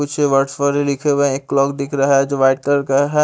कुछ वर्डस लिखे हुए है एक क्लॉक दिख रहा हैं जो व्हाइट कलर का है।